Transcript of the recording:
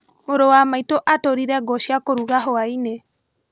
Mũrũ wa maitũ atũrire ngũ cia kũruga hwainĩ.